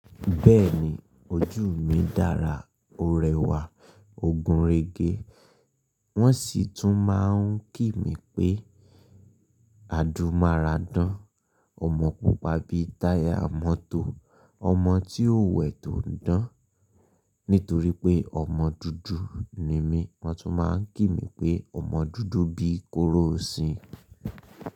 Bẹ́ẹ̀ni ojú mi dára, o rẹwà, ogun rege. Wọ́n sì tún máa ń kí mi pé àdúmaradán. Ọmọ pupa bí táyà mọ́tò, ọmọ tí ò wẹ̀ tó ń dán. Nítorí pé ọmọ dúdú ni mí, wọ́n tún máa ń kí mi pé ọmọ dúdú bíi kóró sin.